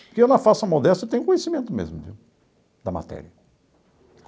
Porque eu, na falsa modéstia, eu tenho conhecimento mesmo viu da matéria.